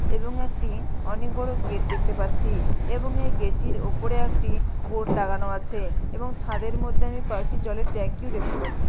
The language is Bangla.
এবং একটি অনেক বড় গেট দেখতে পাচ্ছি এবং এই গেট -টির ওপরে একটি বোর্ড লাগানো আছে এবং ছাদের মধ্যে আমি কয়েকটি জলের ট্যাংকি -ও দেখতে পাচ্ছি।